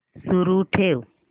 सुरू ठेव